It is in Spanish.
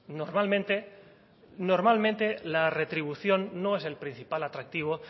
normalmente normalmente la retribución no es el principal atractivo